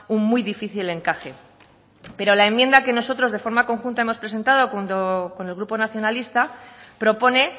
un muy difícil encaje pero la enmienda que nosotros de forma conjunta hemos presentado con el grupo nacionalista propone